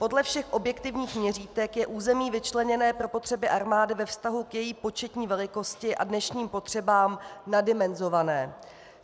Podle všech objektivních měřítek je území vyčleněné pro potřeby armády ve vztahu k její početní velikosti a dnešním potřebám naddimenzované.